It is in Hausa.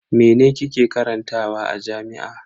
Mene kike karantawa a jami'a?